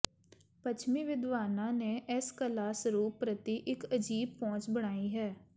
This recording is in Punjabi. ਪੱਛਮੀ ਵਿਦਵਾਨਾਂ ਨੇ ਇਸ ਕਲਾ ਸਰੂਪ ਪ੍ਰਤੀ ਇਕ ਅਜੀਬ ਪਹੁੰਚ ਬਣਾਈ ਹੈ